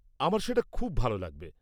আমার সেটা খুব ভাল লাগবে!